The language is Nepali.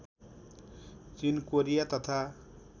चिन कोरिया तथा